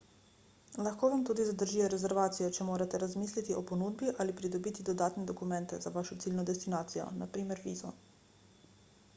lahko vam tudi zadržijo rezervacijo če morate razmisliti o ponudbi ali pridobiti dodatne dokumente za vašo ciljno destinacijo npr. vizo